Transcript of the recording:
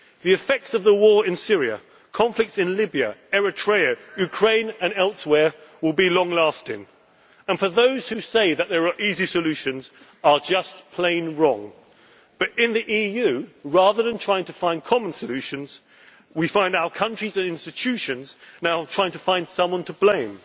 our voters. The effects of the war in Syria and conflicts in Libya, Eritrea, Ukraine and elsewhere will be long lasting and those who say that there are easy solutions are just plain wrong. But in the EU, rather than trying to find common solutions, we now find our countries and institutions trying to find someone